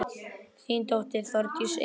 Þín dóttir, Þórdís Eva.